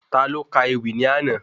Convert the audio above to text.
Taló Ka ewì ní àná?